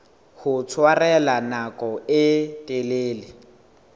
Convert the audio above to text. ho tshwarella nako e telele